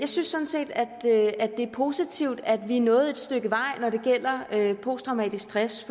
synes sådan set at det er positivt at vi er nået et stykke vej når det gælder posttraumatisk stress